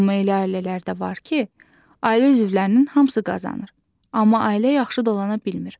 Amma elə ailələr də var ki, ailə üzvlərinin hamısı qazanır, amma ailə yaxşı dolana bilmir.